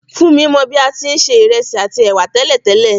Fúnmi mo bi a ti n se ìrẹsì àtí èwà tẹ̀lẹ́tẹ̀lẹ́